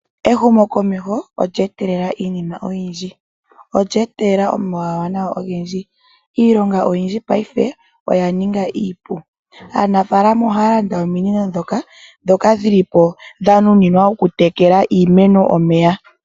Ehumokomeho olya etelela iinima oyindji, olya etelela omawuwanawa ogendji. Iilonga oyindji paife oya ninga iipu. Aanafaalama ohaya landa ominino ndhoka dhili po dha nunwa okutekela iimeno omeya.